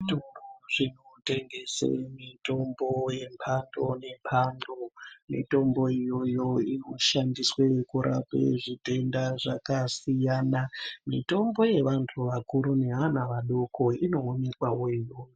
Zvitoro zvinotengese mitombo yemhando nemhando mitombo iyoyo inoshandiswe kurape zvitenda zvakasiyana, mitombo yevanhu vakuru nevana vadoko inoonekwa wo iyoyo.